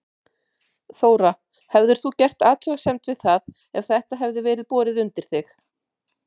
Þóra: Hefðir þú gert athugasemd við það ef þetta hefði verið borið undir þig?